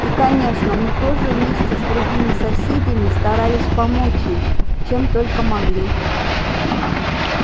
и конечно мы тоже вместе с другими соседями старались помочь им чем только могли